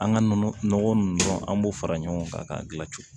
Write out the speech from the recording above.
An ka nɔnɔ nɔgɔ ninnu an b'o fara ɲɔgɔn kan k'a gilan cogo